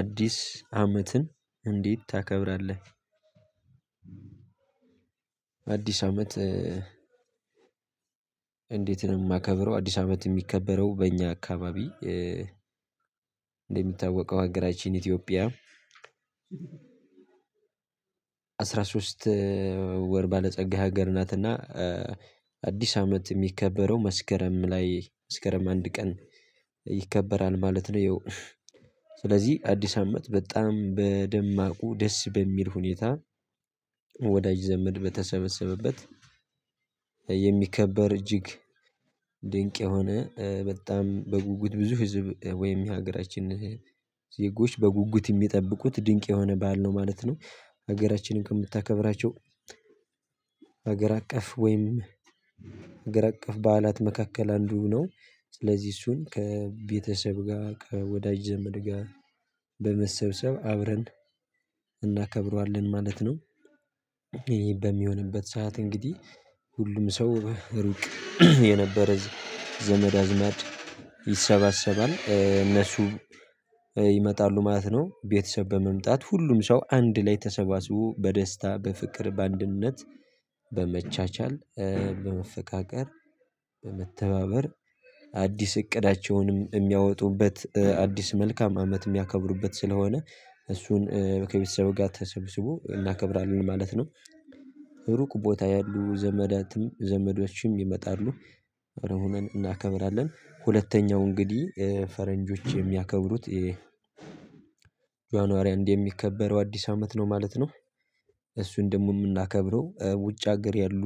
አዲስ አመትን እንዴት ታከብራለህ? አዲስ አመት እንዴት ነው የማከብረው አዲስ አመት የሚከበረው በእኛ አካባቢ። እንደሚታወቀው ሀገራችን ኢትዮጵያ አስራ ሶስት ወር ባለጸጋ ሀገር ናትና አዲስ አመት የሚከበረው መስከረም ላይ መስከረም አንድ ቀን ይከበራል ማለት ነው። ያው ስለዚህ አዲስ አመት በጣም በደማቁ ደስ በሚል ሁኔታ። ወዳጅ ዘመድ በተሰበሰበበት የሚከበር እጅግ ድንቅ የሆነ በጣም በጉጉት ብዙ ህዝብ ወይም የሀገራችን ዜጎች በጉጉት የሚጠብቁት ድንቅ የሆነ ባል ነው ማለት ነው። ሀገራችንም ከምታከብራቸው ሀገር አቀፍ ወይም ሀገር አቀፍ በዓላት መካከል አንዱ ነው። ስለዚህ እሱን ከቤተሰብ ጋር ከወዳጅ ዘመድ ጋር በመሰብሰብ አብረን እናከብረዋለን ማለት ነው። ይሄ በሚሆንበት ሰዓት እንግዲህ ሁሉም ሰው ሩቅ የነበረ ዘመድ አዝማድ ይሰባሰባል እነሱ ይመጣሉ ማለት ነው። ቤተሰብ በመምጣት ሁሉም ሰው አንድ ላይ ተሰባስቦ በደስታ በፍቅር በአንድነት በመቻቻል በመፈቃቀር በመተባበር አዲስ እቅዳቸውንም የሚያወጡበት አዲስ መልካም አመት የሚያከብሩበት ስለሆነ እሱን ከቤተሰብ ጋር ተሰብስቦ እናከብራለን ማለት ነው። ሩቅ ቦታ ያሉ ዘመዳትም ዘመዶችም ይመጣሉ አብረን ሆነን እናከብራለን ሁለተኛው እንግዲህ ፈረንጆች የሚያከብሩት የጇናሪ የሚከበረው አዲስ አመት ነው ማለት ነው። እሱን ደግሞ የምናከብረው ውጭ ሀገር ያሉ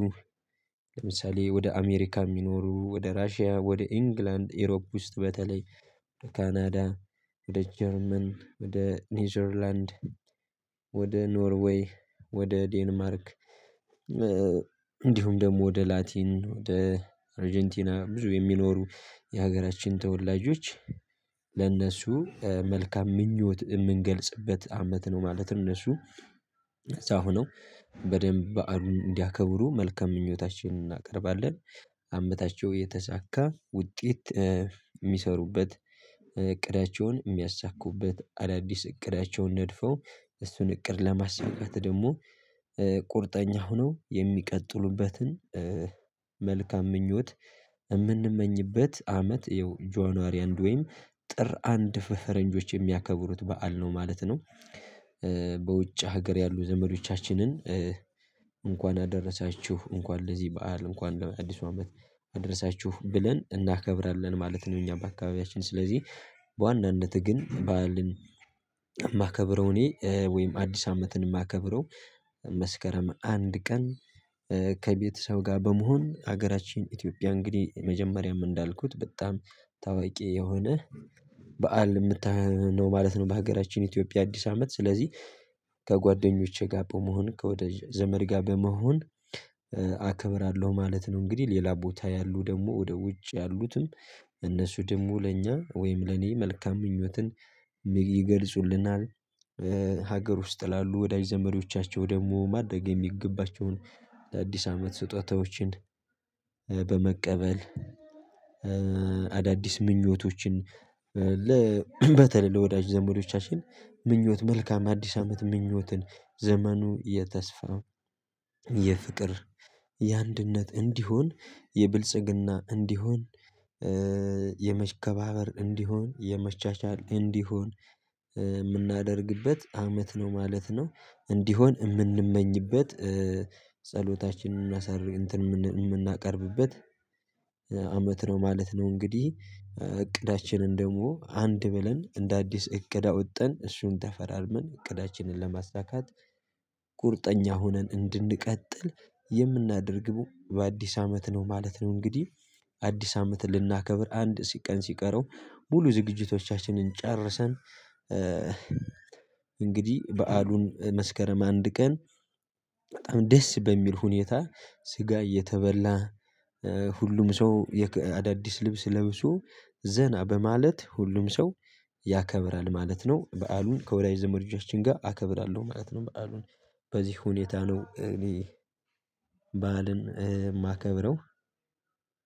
ለምሳሌ ወደ አሜሪካ የሚኖሩ ወደ ራሺያ ወደ ኢንግላንድ ኢሮፕ ውስጥ በተለይ ከካናዳ ወደ ጀርመን ወደ ኔዘርላንድ ወደ ኖርዌይ ወደ ዴንማርክ እንዲሁም ደግሞ ወደ ላቲን ወደ አርጀንቲና ብዙ የሚኖሩ የሀገራችን ተወላጆች ለእነሱ መልካም ምኞት የምንገልጽበት አመት ነው። ማለት እነሱ እዛ ሆነው በደንብ በዓሉን እንዲያከብሩ መልካም ምኞታችንን እናቀርባለን። አመታቸው የተሳካ ውጤት የሚሰሩበት እቅዳቸውን የሚያሳኩበት አዳዲስ እቅዳቸውን ነድፎ እሱን እቅድ ለማሳካት ደግሞ ቁርጠኛ ሆነው የሚቀጥሉበትን መልካም ምኞት የምንመኝበት አመት ይኸው ጇንዋሪ አንድ ወይም ጥር አንድ ፈረንጆች የሚያከብሩት በዓል ነው ማለት ነው። በውጭ ሀገር ያሉ ዘመዶቻችንን እንኳን አደረሳችሁ እንኳን ለዚህ በዓል እንኳን ለአዲሱ አመት አድረሳችሁ ብለን እናከብራለን ማለት ነው። እኛ በአካባቢያችን ስለዚህ በዋናነትህ ግን ባዓልን የማከብረው እኔ ወይም አዲስ አመትን የማከብረው መስከረም አንድ ቀን ከቤተሰብ ጋር በመሆን ሀገራችን ኢትዮጵያ እንግዲህ መጀመሪያም እንዳልኩት በጣም ታዋቂ የሆነ በዓል የምታ ማለት ነው በሀገራችን ኢትዮጵያ አዲስ አመት ስለዚህ ከጓደኞቼ ጋር በመሆን ከወዳጅ ዘመድ ጋር በመሆን አከብራለሁ ማለት ነው። እንግዲህ ሌላ ቦታ ያሉ ደግሞ ወደ ውጭ ያሉትም እነሱ ደግሞ ለእኛ ወይም ለኔ መልካም ምኞትን ይገልጹልናል። ሀገር ውስጥ ላሉ ወዳጅ ዘመዶቻቸው ደግሞ ማድረግ የሚገባቸውን ለአዲስ አመት ስጦታዎችን በመቀበል አዳዲስ ምኞቶችን በተለይ ለወዳጅ ዘመዶቻችን ምኞት መልካም አዲስ አመት ምኞትን ዘመኑ የተስፋ የፍቅር የአንድነት እንዲሆን የብልጽግና እንዲሆን የመከባበር እንዲሆን የመቻቻል እንዲሆን የምናደርግበት አመት ነው ማለት ነው። እንዲሆን የምንመኝበት ጸሎታችንን ምናሳር እንትን የምናቀርብበት አመት ነው ማለት ነው። እንግዲህ እቅዳችንን ደግሞ አንድ ብለን እንደ አዲስ እቅድ አወጥተን እሱን ተፈራርመን እቅዳችንን ለማሳካት ቁርጠኛ ሆነን እንድንቀጥል የምናደርገው በአዲስ አመት ነው ማለት ነው። እንግዲህ አዲስ አመትን ልናከብር አንድ ቀን ሲቀረው ሙሉ ዝግጅቶቻችንን ጨርሰን እንግዲህ በዓሉን መስከረም አንድ ቀን በጣም ደስ በሚል ሁኔታ ስጋ እየተበላ ሁሉም ሰው አዳዲስ ልብስ ለብሶ ዘና በማለት ሁሉም ሰው ያከብራል ማለት ነው። በዓሉን ከወዳጅ ዘመዶቻችን ጋር አከብራለሁ ማለት ነው። በዓሉን በዚህ ሁኔታ ነው እኔ በዓልን የማከብረው